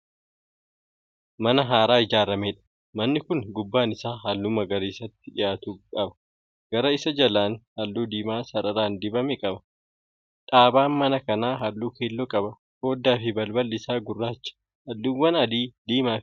Mana haaraa ijaarameedha. manni Kuni gubbaan Isaa halluu magariisatti dhiyaatu qaba. gara Isa jalaan halluu diimaa sararaan dibame qaba. dhaabaan mana kanaa halluu keelloo qaba. foddaafi balballi Isaa gurraacha. halluuwwan adii, diimaa Fi gurraachi gidduu isaarraan dibamaniiru.